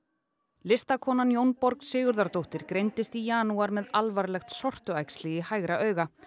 listakonan Sigurðardóttir greindist í janúar með alvarlegt sortuæxli í hægra auga